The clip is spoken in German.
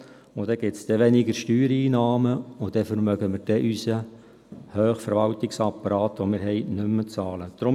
Dann wird es weniger Steuereinnahmen geben, und dann werden wir unseren hohen Verwaltungsapparat nicht mehr zu bezahlen vermögen.